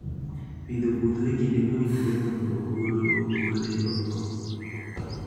Pidho puodho e kinde mowinjore mondo ogolo ogole oko